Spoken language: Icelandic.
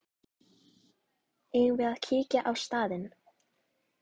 Eigum við að kíkja á staðinn?